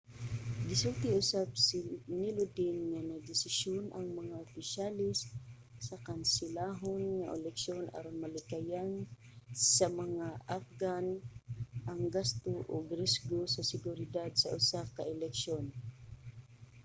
gisulti usab ni lodin nga nagdesisyon ang mga opisyales nga kanselahon ang eleksyon aron malikayan sa mga afghan ang gasto ug risgo sa seguridad sa usa pa ka eleksyon